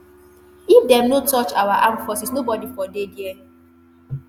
if dem no touch our armed forces nobodi for dey dia.